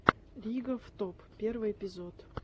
ригоф топ первый эпизод